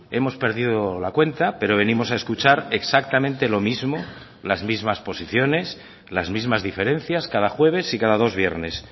hemos perdido la cuenta pero venimos a escuchar exactamente lo mismo las mismas posiciones las mismas diferencias cada jueves y cada dos viernes